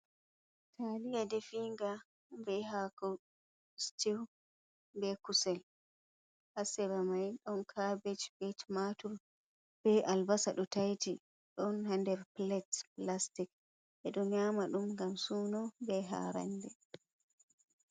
Taliya ɗefinga ɓei hako sitiu be kusel ha sera mai don caɓej ɓei tumatur ɓe albasa ɗo taiti ɗon ha nder pilet pilastic ɓe do nyaama ɗum ngam suno ɓe ha ranɗe.